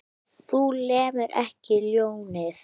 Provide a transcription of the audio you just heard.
Þú lemur ekki ljónið.